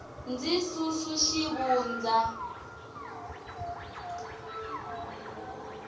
ndzi susu xivundza